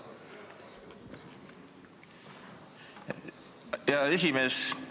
Hea esimees!